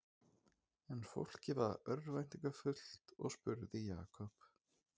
En fólkið varð örvæntingarfullt og spurði Jakob